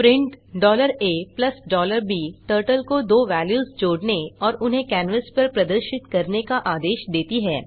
print a b turtle को दो values जोड़ने और उन्हें कैनवास पर प्रदर्शित करने का आदेश देती है